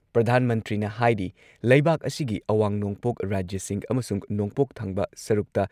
ꯄ꯭ꯔꯙꯥꯟ ꯃꯟꯇ꯭ꯔꯤꯅ ꯍꯥꯏꯔꯤ ꯂꯩꯕꯥꯛ ꯑꯁꯤꯒꯤ ꯑꯋꯥꯡ ꯅꯣꯡꯄꯣꯛ ꯔꯥꯖ꯭ꯌꯁꯤꯡ ꯑꯃꯁꯨꯡ ꯅꯣꯡꯄꯣꯛ ꯊꯪꯕ ꯁꯔꯨꯛꯇ